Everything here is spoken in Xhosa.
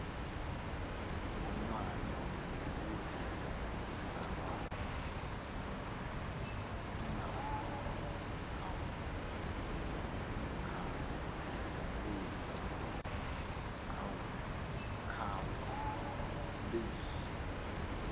ngonwali ukuze zingakhawulezi